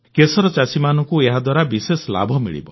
କେଶର ଚାଷୀମାନଙ୍କୁ ଏହାଦ୍ୱାରା ବିଶେଷ ଲାଭ ମିଳିବ